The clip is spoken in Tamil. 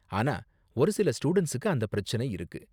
ஆனா ஒரு சில ஸ்டூடண்ட்ஸுக்கு அந்த பிரச்சினை இருக்கு.